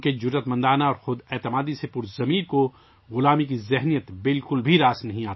ان کی نڈر اور خوددار طبیعت کو غلامی کی ذہنیت بالکل پسند نہ تھی